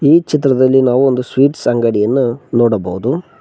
ಈ ಚಿತ್ರದಲ್ಲಿ ನಾವು ಒಂದು ಸ್ವೀಟ್ಸ್ ಅಂಗಡಿಯನ್ನು ನೋಡಬಹುದು.